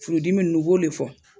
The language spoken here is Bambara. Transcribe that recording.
Furudimi ninnu i b'o de fɔ.